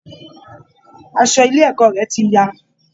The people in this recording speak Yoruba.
Aṣọ ilé ẹ̀kọ́ rẹ̀ ti ya